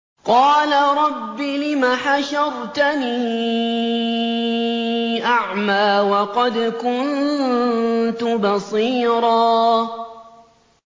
قَالَ رَبِّ لِمَ حَشَرْتَنِي أَعْمَىٰ وَقَدْ كُنتُ بَصِيرًا